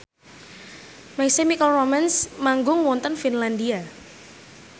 My Chemical Romance manggung wonten Finlandia